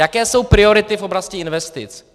Jaké jsou priority v oblasti investic?